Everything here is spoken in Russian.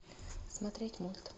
смотреть мульт